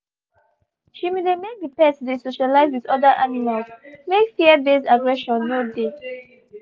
she been dey make the pet dey socialize with other animals make fear based aggression no dey